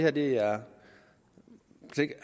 at det her